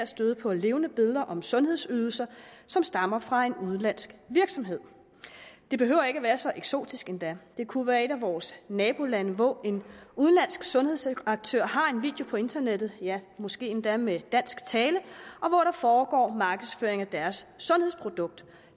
støde på levende billeder om sundhedsydelser som stammer fra en udenlandsk virksomhed det behøver ikke at være så eksotisk endda det kunne være et af vores nabolande hvor en udenlandsk sundhedsaktør har en video på internettet ja måske endda med dansk tale og hvor der foregår markedsføring af deres sundhedsprodukt